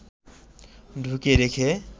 ঢুকিয়ে রেখে